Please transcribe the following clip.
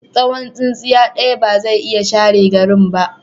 Tsawon tsintsiya ɗaya ba zai iya share garin ba.